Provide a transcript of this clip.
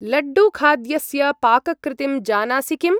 लड्डू-खाद्यस्य पाककृतिं जानासि किम्?